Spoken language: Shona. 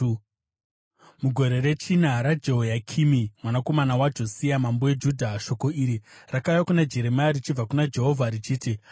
Mugore rechina raJehoyakimi mwanakomana waJosia mambo weJudha, shoko iri rakauya kuna Jeremia richibva kuna Jehovha, richiti,